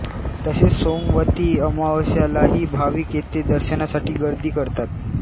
तसेच सोमवती अमावास्येलाही भाविक येथे दर्शनासाठी गर्दी करतात